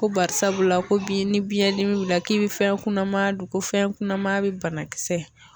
Ko barisabula ko bi ni biyɛn dimi b'i la k'i bi fɛn kunaman don ko fɛn kunnama be bana kisɛ